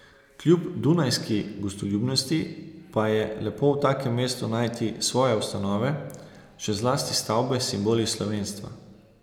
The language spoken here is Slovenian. Kljub dunajski gostoljubnosti pa je lepo v takem mestu najti svoje ustanove, še zlasti stavbe s simboli slovenstva.